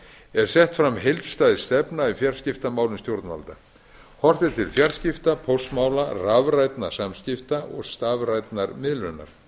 er sett fram heildstæð stefna í fjarskiptamálum stjórnvalda horft er til fjarskipta póstmála rafrænna samskipta og stafrænnar miðlunar áætlunargerðin